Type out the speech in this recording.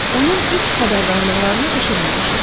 Onun ilk xəbərdarlıqlarını eşitməmişik.